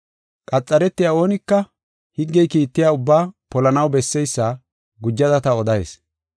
Qaxaretiya oonika higgey kiittiya ubbaa polanaw besseysa gujada ta odayis.